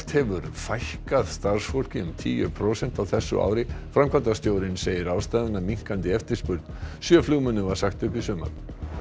hefur fækkað starfsfólki um tíu prósent á þessu ári framkvæmdastjórinn segir ástæðuna minnkandi eftirspurn sjö flugmönnum var sagt upp í sumar